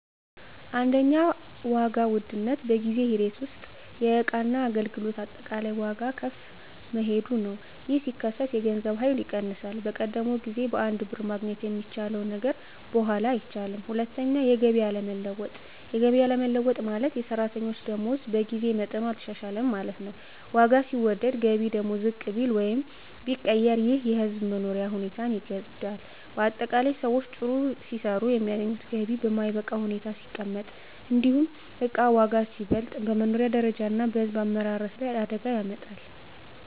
1. ዋጋ ውድነት በጊዜ ሂደት ውስጥ የእቃና አገልግሎት አጠቃላይ ዋጋ ከፍ መሄዱ ነው። ይህ ሲከሰት የገንዘብ ኃይል ይቀንሳል፤ በቀደመው ጊዜ በአንድ ብር ማግኘት የሚቻለው ነገር በኋላ አይቻልም። 2. የገቢ አለመለወጥ የገቢ አለመለወጥ ማለት፣ የሰራተኞች ደመወዝ በጊዜ መጠኑ አልተሻሻለም ማለት ነው። ዋጋ ሲወደድ ገቢ ደግሞ ዝቅ ቢል ወይም ቢቀር ይህ የሕዝብ መኖሪያ ሁኔታን ይጎዳል። ✅ በአጠቃላይ: ሰዎች ሲሰሩ የሚያገኙት ገቢ በማይበቃ ሁኔታ ሲቀመጥ፣ እንዲሁም እቃ ዋጋ ሲበልጥ፣ በመኖሪያ ደረጃ እና በሕዝብ አመራረት ላይ አደጋ ያመጣል።